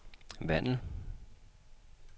Vandel